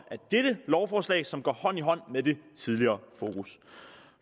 dette lovforslag som går hånd i hånd med det tidligere fokus